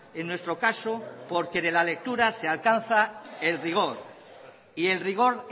en nuestro caso porque de la lectura se alcanza el rigor y el rigor